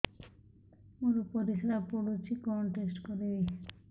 ମୋର ପରିସ୍ରା ପୋଡୁଛି କଣ ଟେଷ୍ଟ କରିବି